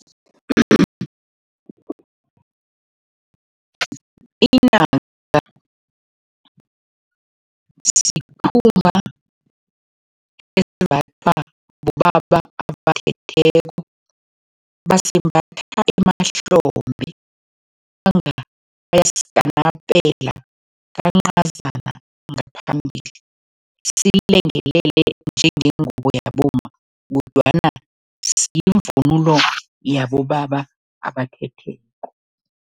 Inaka sikhumba esimbathwa bobaba abathetheko, basembatha emahlombe kwanga bayasikanapela kancazana ngaphambili, silengelele njengengubo yabomma kodwana sivunulo yabobaba abathetheko.